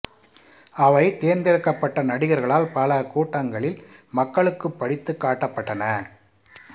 அவை தேர்ந்தெடுக்கப்பட்ட நடிகர்களால் பல கூட்டங்களில் மக்களுக்குப் படித்துக் காட்டப்பட்டன